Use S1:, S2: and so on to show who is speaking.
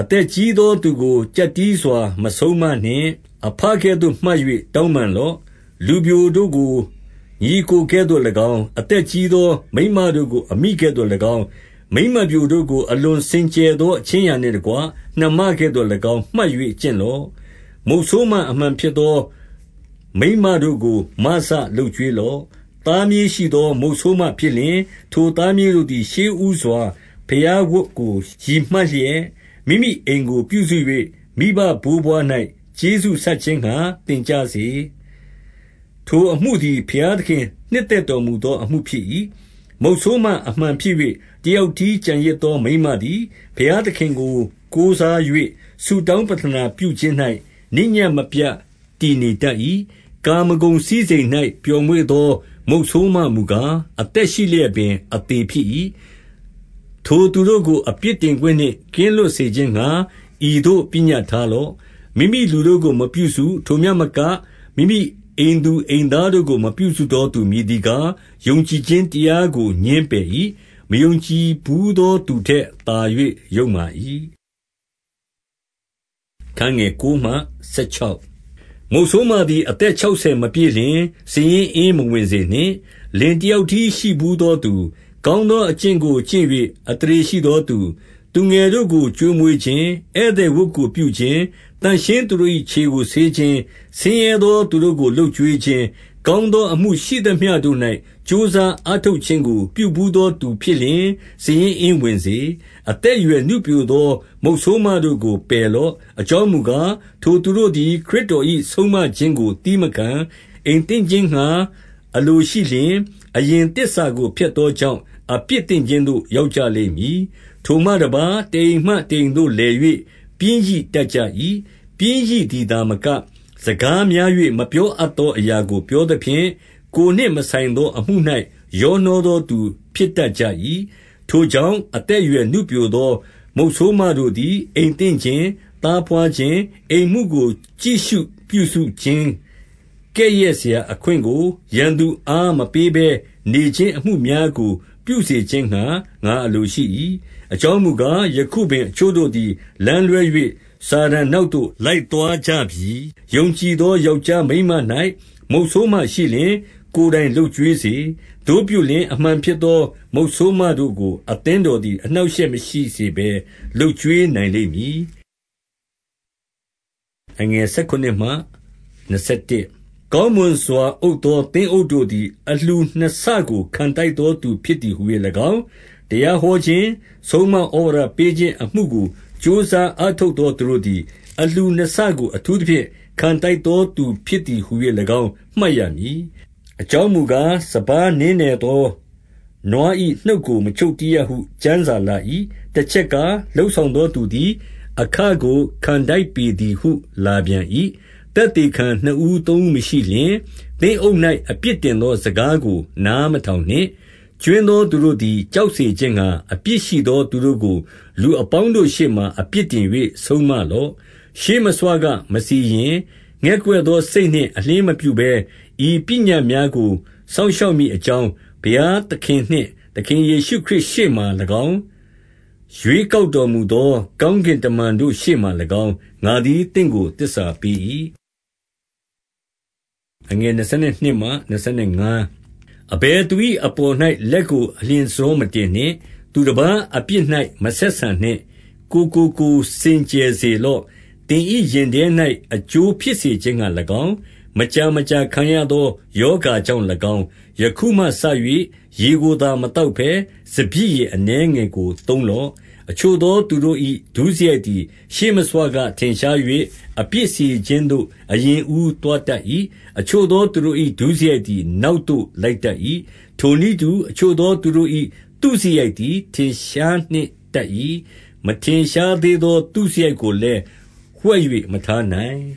S1: အသက်ကြီးသောသူကို ကျပ်တည်းစွာ မဆုံးမနှင့်။ အဘကဲ့သို့ မှတ်၍ တောင်းပန်လော့။ လူပျိုတို့ကို ညီအစ်ကိုကဲ့သို့၎င်း၊ 2 အသက်ကြီးသောမိန်းမတို့ကို အမိကဲ့သို့၎င်း၊ မိန်းမပျိုတို့ကို အလွန်စင်ကြယ်သော အခြင်းအရာနှင့် တကွ၊ နှမကဲ့သို့၎င်း မှတ်၍ကျင့်လော့။ 3 မုတ်ဆိုးမအမှန်ဖြစ်သော မိန်းမတို့ကို မစလုပ်ကျွေးလော့။ 4 သားမြေးရှိသော မုတ်ဆိုးမဖြစ်လျှင်၊ ထိုသားမြေးတို့သည် ရှေးဦးစွာ ဘုရားဝတ်ကို ရည်မှတ်လျက်၊ မိမိအိမ်ကို ပြုစု၍ မိဘဘိုးဘွား၌ ကျေးဇူးဆပ်ခြင်းငှါ သင်ကြစေ။ ထိုအမှုသည် ဘုရားသခင်နှစ်သက်တော်မူ သောအမှုဖြစ်၏။ 5 မုတ်ဆိုးမအမှန်ဖြစ်၍ တယောက်တည်းကျန်ရစ်သောမိန်းမသည်၊ ဘုရားသခင်ကို ကိုးစား၍ ဆုတောင်း ပဌာနပြုခြင်း၌ နေ့ညဉ့်မပြတ် တည်နေတတ်၏။ 6 ကာမဂုဏ်စည်းစိမ်၌ပျော်မွေ့သော မုတ်ဆိုးမမူကား၊ အသက်ရှိလျက်ပင် အသေဖြစ်၏။ 7 ထိုသူတို့ကို အပြစ်တင်ခွင့်နှင့် ကင်းလွတ်စေခြင်းငှါ ဤသို့ ပညတ်ထားလော့။ 8 မိမိလူတို့ကိုမပြုစု၊ ထိုမျှမက၊ မိမိအိမ်သူအိမ်သားတို့ကို မပြုစုသောသူမည်သည်ကား၊ ယုံကြည်ခြင်း တရားကို ငြင်းပယ်၏။ မယုံကြည်ဘူးသော သူထက်သာ၍ ယုတ်မာ၏။ 9 မုတ်ဆိုးမသည် အသက်ခြောက်ဆယ်မပြည့်လျှင်၊ စာရင်းအင်း မဝင်စေနှင့်။ လင်တယောက်တည်း ရှိဘူးသောသူ၊ 10 ကောင်းသောအကျင့်ကိုကျင့်၍ အသရေရှိသောသူ၊ သူငယ်တို့ကို ကျွေးမွေးခြင်း၊ ဧည့်သည်ဝတ်ပြုခြင်း၊ သန့်ရှင်းသူတို့၏ခြေကိုဆေးခြင်း၊ ဆင်းရဲသောသူတို့ကို လုပ်ကျွေးခြင်း၊ ကောင်းသောအမှုရှိသမျှတို့၌ ကြိုးစား အားထုတ်ခြင်းကို ပြုဘူးသောသူဖြစ်လျှင်၊ စာရင်းအင်း ဝင်စေ။ 11 အသက်အရွယ်နုပျိုသော မုတ်ဆိုးမတို့ကို ပယ်လော့။ အကြောင်းမူကား၊ ထိုသူတို့သည် ခရစ်တော်၏ ဆုံးမခြင်းကို သည်းမခံ။ အိမ်သင့်ခြင်း ငါအလိုရှိလျှင်၊ 12 အရင်သစ္စာကို ဖျက်သောကြောင့် အပြစ်သင့်ခြင်းသို့ ရောက်ကြလိမ့်မည်။ 13 ထိုမှတပါး၊ တအိမ်မှတအိမ်သို့လည်၍ ပျင်းရိတတ်ကြ၏။ ပျင်းရိသည်သာမက၊ စကားများ၍ မပြော အပ်သောအရာကို ပြောသဖြင့်၊ ကိုယ်နှင့်မဆိုင်သောအမှု၌ ရောနှောသောသူဖြစ်တတ်ကြ၏။ 14 ထိုကြောင့်၊ အသက်အရွယ်နုပျိုသော မုတ်ဆိုးမတို့သည် အိမ်သင့်ခြင်း၊ သားဘွားခြင်း၊ အိမ်မှုကို ကြည့်ရှုပြုစုခြင်း၊ ကဲ့ရဲ့စရာအခွင့်ကို ရန်သူအား မပေးဘဲနေခြင်း အမှုများကို ပြုစေခြင်းငှါ ငါအလိုရှိ၏။ 15 အကြောင်းမူကား၊ ယခုပင်အချို့တို့သည် လမ်းလွဲ၍ စာတန်နောက်သို့ လိုက်သွားကြပြီ။ 16 ယုံကြည်သော ယောက်ျားမိန်းမ၌ မုတ်ဆိုးမရှိလျှင်၊ ကိုယ်တိုင်လုပ်ကျွေးစေ။ သို့ပြုလျှင်၊ အမှန်ဖြစ် သော မုတ်ဆိုးမတို့ကို အသင်းတော်သည် အနှောင့်အရှက်မရှိစေဘဲ လုပ်ကျွေးနိုင်လိမ့်မည်။ 17 ကောင်းမွန်စွာ အုပ်သောသင်းအုပ်တို့သည် အလှူနှစ်ဆကို ခံထိုက်သောသူဖြစ်သည်ဟူ၍၎င်း၊ တရားဟောခြင်း၊ ဆုံးမဩဝါဒပေးခြင်းအမှုကို ကြိုးစားအားထုတ်သောသူတို့သည်။ အလှူနှစ်ဆကို အထူးသဖြင့် ခံထိုက်သောသူဖြစ်သည်ဟူ၍၎င်း မှတ်ရမည်။ 18 အကြောင်းမူကား၊ စပါးနင်းနယ်သောနွား၏ နှုတ်ကိုမချုပ်တည်းရဟုကျမ်းစာလာ၏။ တချက်ကား၊ လုပ်ဆောင်သောသူသည် အခကို ခံထိုက်ပေးသည်ဟု လာပြန်၏။ 19 သက်သေခံနှစ်ဦးသုံးဦးမရှိလျှင်၊ သင်းအုပ်၌ အပြစ်တင်သော စကားကို နားမထောင်နှင့်။ 20 ကြွင်းသောသူတို့သည် ကြောက်စေခြင်းငှါ အပြစ်ရှိသော သူတို့ကို လူအပေါင်းတို့ရှေ့မှာ အပြစ်တင် ၍ ဆုံးမလော့။ 21 ရှေ့မဆွကမစီရင်၊ ငဲ့ကွက်သောစိတ်နှင့်အလျှင်းမပြုဘဲ၊ ဤပညတ်များကို စောင့်ရှောက်မည် အကြောင်း၊ ဘုရားသခင်နှင့် သခင်ယေရှုခရစ်မှာ၎င်း၊ ရွေးကောက်တော်မူသော ကောင်းကင်တမန်တို့ ရှေ့မှာ၎င်း၊ ငါသည် သင့်ကို သစ္စာပေး၏။ 22 အဘယ်သူ၏အပေါ်၌ လက်ကို အလျင်တဆောမတင်နှင့်။ သူတပါးအပြစ်၌ မဆက်ဆံနှင့်။ ကိုယ်ကိုကိုယ် စင်ကြယ်စေလော့။ 23 သင်၏ရင်ထဲ၌ အကျိုးဖြစ်စေခြင်းငှါ၎င်း၊ မကြာမကြာခံရသော ရောဂါကြောင့်၎င်း၊ ယခုမှစ၍ ရေကိုသာ မသောက်ဘဲ၊ စပျစ်ရည်အနည်း ငယ်ကိုသုံးလော့။ 24 အချို့သော သူတို့၏ဒုစရိုက်သည် ရှေ့မဆွကထင်ရှား၍၊ အပြစ်စီရင်ခြင်းသို့ အရင်အဦးသွားတတ်၏။ အချို့သောသူတို့၏ ဒုစရိုက်သည် နောက်သို့လိုက်တတ်၏။ 25 ထိုနည်းတူ၊ အချို့သောသူတို့၏ သုစရိုက်သည် ထင်ရှားနှင့်တတ်၏။ မထင်ရှားသေးသော သုစရိုက်ကို လည်း ဝှက်၍မထားနိုင်